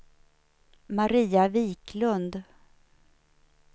Maria Wiklund